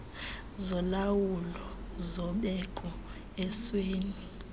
zolawulo zobeko esweni